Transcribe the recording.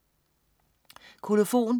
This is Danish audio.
Kolofon